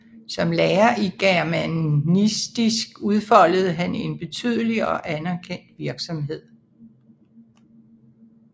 Som lærer i germanistik udfoldede han en betydelig og anerkendt virksomhed